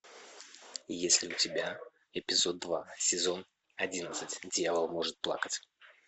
есть ли у тебя эпизод два сезон одиннадцать дьявол может плакать